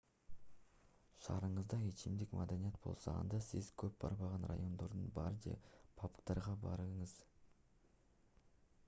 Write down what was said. шаарыңызда ичимдик маданияты болсо анда сиз көп барбаган райондордогу бар же пабдарга барыңыз